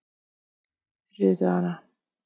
þriðjudagana